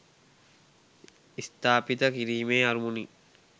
ස්ථාපිත කිරීමේ අරමුණින්